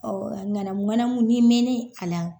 Ɔn a ɲanamu ɲanamu ,ni mɛnnen a la